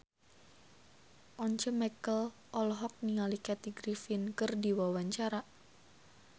Once Mekel olohok ningali Kathy Griffin keur diwawancara